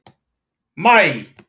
maí